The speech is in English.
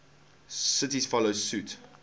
cities follow suit